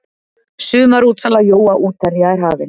Sumarútsala jóa útherja er hafin.